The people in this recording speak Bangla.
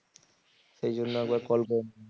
সেই জন্য একবার call করে